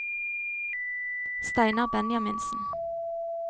Steinar Benjaminsen